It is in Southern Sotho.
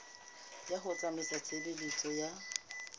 ya ho tsamaisa tshebeletso ya